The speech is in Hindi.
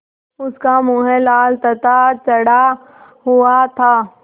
उसका मुँह लाल तथा चढ़ा हुआ था